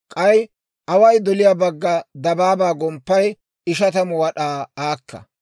K'ay away doliyaa bagga dabaabaa gomppay ishatamu wad'aa aaka.